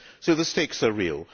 So the stakes are real.